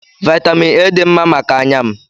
Vaịtamịn A dị mma maka anya m.